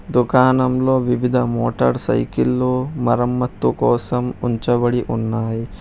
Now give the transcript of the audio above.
దుకాణం లో వివిధ మోటార్ సైకిలలు మరమ్మతుకోసం ఉంచబడి ఉన్నాయి.